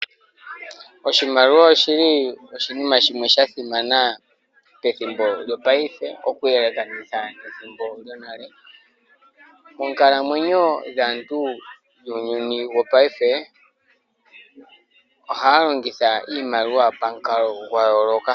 Oshimaliwa oshili oshinima shimwe sha simana pethimbo shopayife, oku yelekanitha nethimbo lyonale . Monkalamwenyo dhaantu muuyuni wopayife ,ohaa longitha iimaliwa pamukalo gwa yoloka